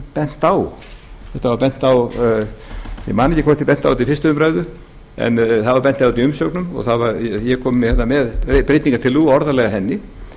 bent á ég man ekki hvort ég benti á þetta við fyrstu umræðu en það var bent á þetta í umsögnum eg kom með breytingartillögu og orðalag að henni